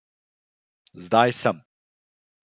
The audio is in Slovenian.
Zdaj sem.